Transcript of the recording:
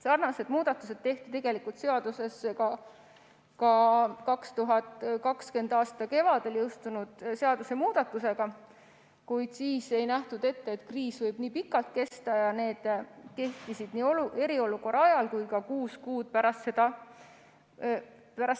Sarnased muudatused tehti seaduses ka 2020. aasta kevadel jõustunud seadusemuudatusega, kuid siis ei nähtud ette, et kriis võib nii pikalt kesta, ning need kehtisid eriolukorra ajal ja kuus kuud pärast